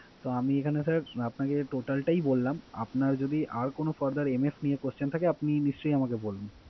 তো, আমি এখানে sir আপনাকে total টাই বললাম। আপনার যদি আর কোন furtherMF নিয়ে question থাকে আপনি নিশ্চয়ই আমাকে বলুন।